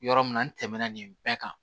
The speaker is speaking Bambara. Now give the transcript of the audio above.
Yɔrɔ min na n tɛmɛna nin bɛɛ kan